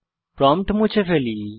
prompt মুছে ফেলি